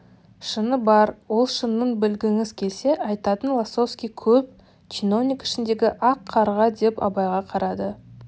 шыны бар ол шынын білгіңіз келсе айтайын лосовский көп чиновник ішіндегі ақ қарға деп абайға қарады